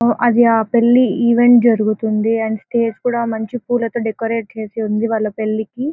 అది ఆ పెళ్లి ఈవెంట్ జరుగుతుంది. అండ్ స్టేజి కూడా మంచి పూలతో డెకరేట్ చేసి ఉంది. వాళ్ళ పెళ్లి కి--